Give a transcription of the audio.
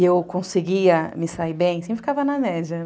e eu conseguia me sair bem, sempre ficava na média